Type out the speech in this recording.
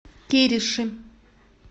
кириши